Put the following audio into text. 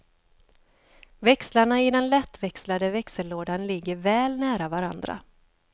Växlarna i den lättväxlade växellådan ligger väl nära varandra.